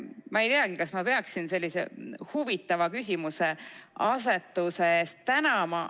Ma ei teagi, kas ma peaksin sellise huvitava küsimuseasetuse eest tänama.